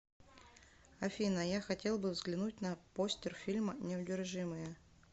афина я хотел бы взглянуть на постер фильма неудержимые